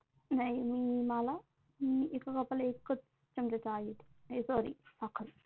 नाही मी मला एका Cup ला एकच चमचा चहा घेते नाही Sorry साखर